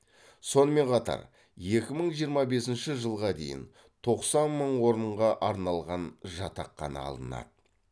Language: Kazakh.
сонымен қатар екі мың жиырма бесінші жылға дейін тоқсан мың орынға арналған жатақхана алынады